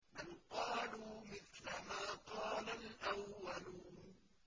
بَلْ قَالُوا مِثْلَ مَا قَالَ الْأَوَّلُونَ